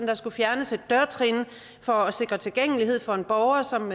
der skulle fjernes et dørtrin for at sikre tilgængelighed for en borger som